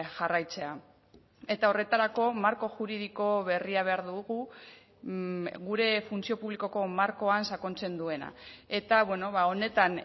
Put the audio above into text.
jarraitzea eta horretarako marko juridiko berria behar dugu gure funtzio publikoko markoan sakontzen duena eta honetan